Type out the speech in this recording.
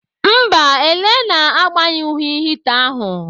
Mba, Elenna agbanyụghị hita ahu.